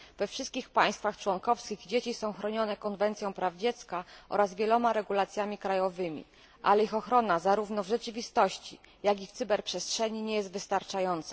We wszystkich państwach członkowskich dzieci są chronione konwencją praw dziecka oraz wieloma regulacjami krajowymi, a ich ochrona zarówno w rzeczywistości, jak i w cyberprzestrzeni nie jest wystarczająca.